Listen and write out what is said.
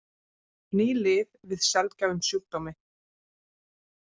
Ný lyf við sjaldgæfum sjúkdómi